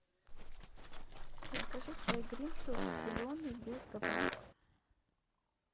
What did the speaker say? закажи чай гринфилд зеленый без добавок